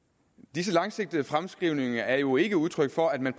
disse langsigtede fremskrivninger er jo ikke udtryk for at man